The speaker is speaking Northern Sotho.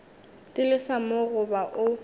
di lesa mo goba o